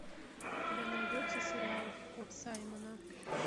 у тебя найдется сериал кот саймона